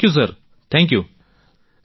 thank you sir thank you